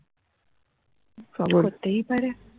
করতেই পারে